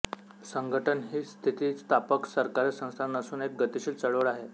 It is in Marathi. संघटन ही स्थितिस्थापक सरकारी संस्था नसून एक गतिशील चळवळ आहे